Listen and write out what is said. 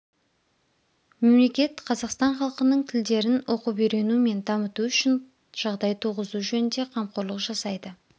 мемлекет қазақстан халқының тілдерн оқып-үйрену мен дамыту үшін жағдай туғызу жөнінде қамқорлық жасайды